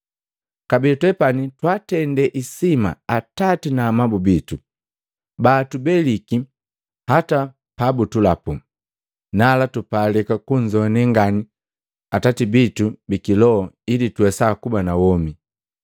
Kabee twepani twaatende isima atati na amabu bitu baatubeliki hata pa butulapu. Nala tupalika kunzoane ngani Atati bitu bi kiloho ili tuwesa kuba na womi.